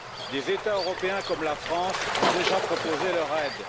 Des États européens comme la France ont déjà proposé leur aide.